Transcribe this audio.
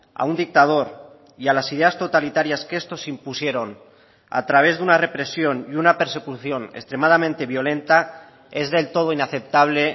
a un dictador y a las ideas totalitarias que estos impusieron a través de una represión y una persecución extremadamente violenta es del todo inaceptable